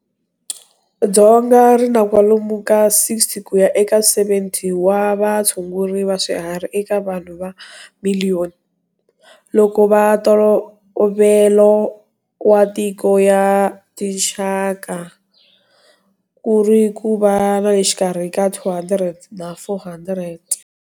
Dzonga ri na kwalomu ka 60 ku ya eka 70 wa vatshunguri va swiharhi eka vanhu va miliyoni, loko va ntolovelo wa tiko ya tinxaka ku ri ku va na le xikarhi ka 200 na 400.